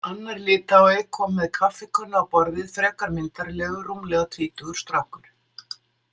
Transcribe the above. Annar Litái kom með kaffikönnu á borðið, frekar myndarlegur rúmlega tvítugur strákur.